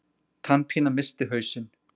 Tannpína missti hausinn.